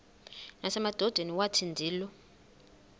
nasemadodeni wathi ndilu